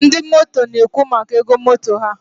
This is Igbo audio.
ndị motor na-ekwu maka ego motor ha.